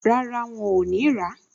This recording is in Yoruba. Rárá, wọn ò ní rà á